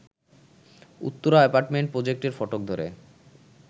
Uttara apartment প্রজেক্টের ফটক ধরে